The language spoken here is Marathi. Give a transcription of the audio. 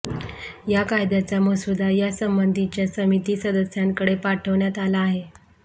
या कायद्याचा मसुदा या संबंधीच्या समिती सदस्यांकडे पाठविण्यात आला आहे